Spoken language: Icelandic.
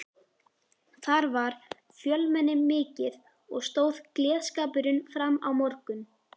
Þar var fjölmenni mikið og stóð gleðskapurinn fram á morgun.